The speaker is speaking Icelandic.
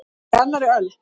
Að vera á annarri öldu